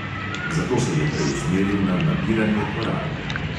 Zato se je preusmeril na nabiranje koral.